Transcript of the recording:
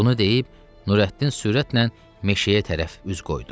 Bunu deyib Nurəddin sürətlə meşəyə tərəf üz qoydu.